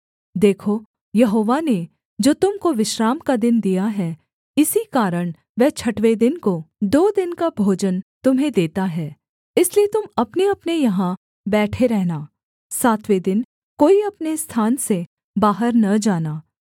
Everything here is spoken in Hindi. देखो यहोवा ने जो तुम को विश्राम का दिन दिया है इसी कारण वह छठवें दिन को दो दिन का भोजन तुम्हें देता है इसलिए तुम अपनेअपने यहाँ बैठे रहना सातवें दिन कोई अपने स्थान से बाहर न जाना